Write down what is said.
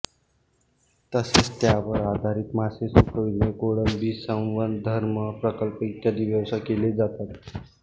तसेच त्यावर आधारित मासे सुकविणे कोळंबी संवर्धन प्रकल्प इत्यादी व्यवसाय केले जातात